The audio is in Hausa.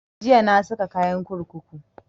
Jiya na saka kayan kurkuku